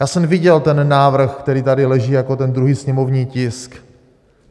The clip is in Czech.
Já jsem viděl ten návrh, který tady leží jako ten druhý sněmovní tisk.